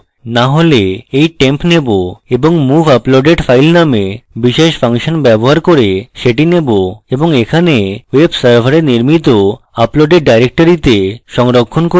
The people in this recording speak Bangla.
না হলে এই temp নেবো এবং move uploaded file নামে বিশেষ ফাংশন ব্যবহার করে সেটি নেবো এবং এখানে web server নির্মিত uploaded directory তে সংরক্ষণ করব